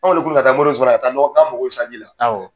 Anw wilila ka taa moriden sumana k'an mɔgɔw bƐ sanji la awƆ